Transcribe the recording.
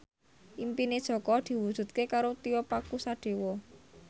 impine Jaka diwujudke karo Tio Pakusadewo